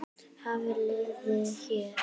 Hafliði hér.